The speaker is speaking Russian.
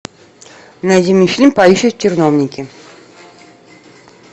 найди мне фильм поющие в терновнике